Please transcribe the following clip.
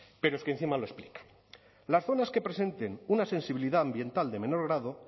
pero es que encima lo explica las zonas que presenten una sensibilidad ambiental de menor grado